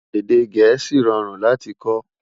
Èdè gèésì rọrùn láti kò